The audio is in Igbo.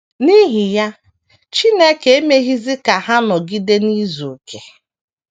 N’ihi ya, Chineke emeghịzi ka ha nọgide n’izu okè.